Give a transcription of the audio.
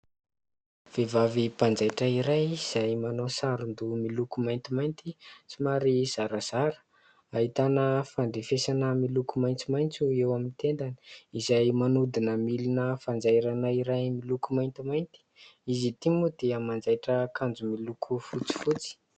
Vehivavy mpanjaitra iray izay manao saron-doha miloko maintimainty somary zarazara ; ahitana fandrefesana miloko maitsomaitso eo amin'ny tendany izay manodina milina fanjairana iray miloko maintimainty. Izy ity moa dia manjaitra akanjo miloko fotsifotsy.